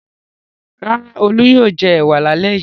Rárá, Olú yóò jẹ ẹ̀wà lálẹ́ yìí.